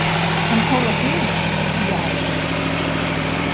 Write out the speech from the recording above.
Hann fór á hliðina, já!